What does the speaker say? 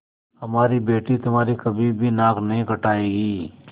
हमारी बेटी तुम्हारी कभी भी नाक नहीं कटायेगी